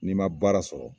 N'i ma baara sɔrɔ